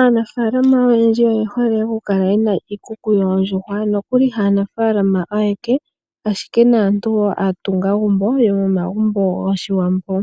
Aanafaalama oyendji oye hole oku kala yena iikuku yoondjuhwa nokuli haanafaalama ayeke ashike naantu wo aatungagumbo yomomagumbo gOshiwambo.